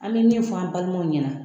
An bɛ min fɔ an balimaw ɲɛna